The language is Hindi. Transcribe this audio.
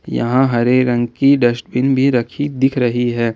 यहां हरे रंग की डस्टबिन भी रखी दिख रही है।